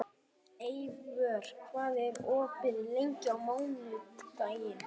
Eivör, hvað er opið lengi á mánudaginn?